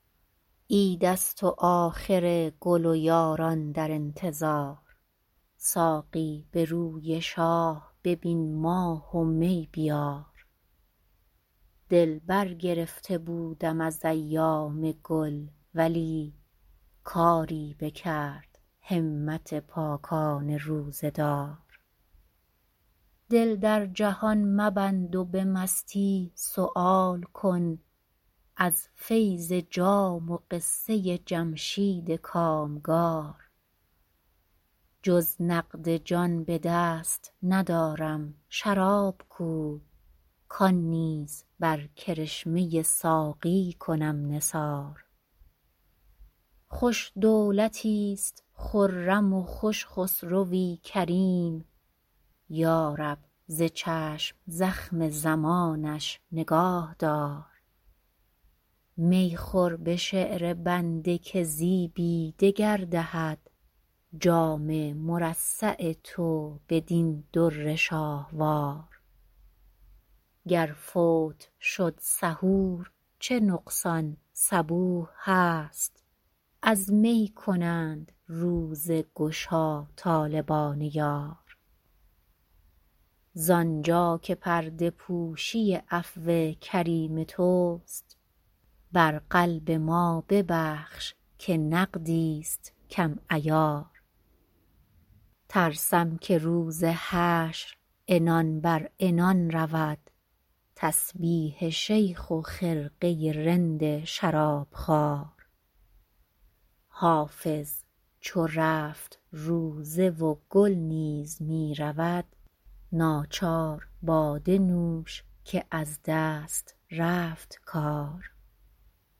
عید است و آخر گل و یاران در انتظار ساقی به روی شاه ببین ماه و می بیار دل برگرفته بودم از ایام گل ولی کاری بکرد همت پاکان روزه دار دل در جهان مبند و به مستی سؤال کن از فیض جام و قصه جمشید کامگار جز نقد جان به دست ندارم شراب کو کان نیز بر کرشمه ساقی کنم نثار خوش دولتیست خرم و خوش خسروی کریم یا رب ز چشم زخم زمانش نگاه دار می خور به شعر بنده که زیبی دگر دهد جام مرصع تو بدین در شاهوار گر فوت شد سحور چه نقصان صبوح هست از می کنند روزه گشا طالبان یار زانجا که پرده پوشی عفو کریم توست بر قلب ما ببخش که نقدیست کم عیار ترسم که روز حشر عنان بر عنان رود تسبیح شیخ و خرقه رند شرابخوار حافظ چو رفت روزه و گل نیز می رود ناچار باده نوش که از دست رفت کار